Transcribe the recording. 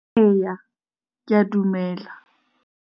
Ee, ke a dumela.